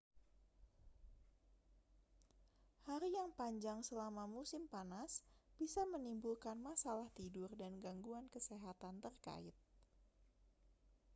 hari yang panjang selama musim panas bisa menimbulkan masalah tidur dan gangguan kesehatan terkait